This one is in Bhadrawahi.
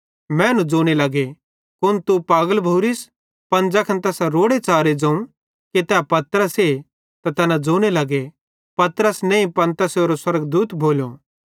तैना मैनू ज़ोने लगे तू कुन पागल भोरिस पन ज़ैखन तैसां रोड़ेच़ारे ज़ोवं कि तै पतरसे त तैना ज़ोने लगे पतरस त नईं पन पतरसेरो स्वर्गदूत भोलो